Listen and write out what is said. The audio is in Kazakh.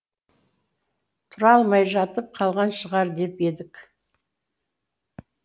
тұра алмай жатып қалған шығар деп едік